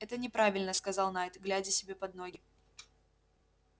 это неправильно сказал найд глядя себе под ноги